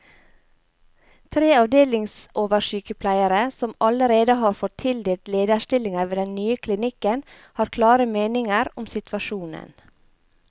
Tre avdelingsoversykepleiere, som allerede har fått tildelt lederstillinger ved den nye klinikken, har klare meninger om situasjonen.